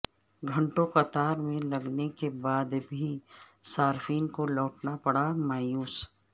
گھنٹوں قطار میں لگنے کے بعد بھی صارفین کو لوٹنا پڑا مایوس